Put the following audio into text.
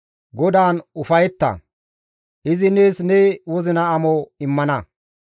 GODAAN ufayetta; izi nees ne wozina amo immana.